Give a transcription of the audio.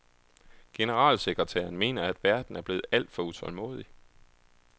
Generalsekretæren mener, at verden er blevet alt for utålmodig.